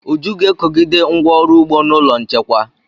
Uju ga-ekogide ngwá ọrụ ugbo n'ụlọ nchekwa.